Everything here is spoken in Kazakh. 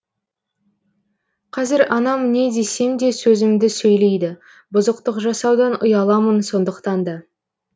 қазір анам не десем де сөзімді сөйлейді бұзықтық жасаудан ұяламын сондықтан да